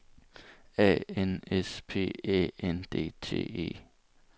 A N S P Æ N D T E